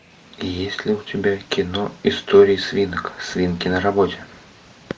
есть ли у тебя кино истории свинок свинки на работе